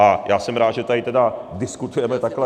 A já jsem rád, že tady tedy diskutujeme takhle.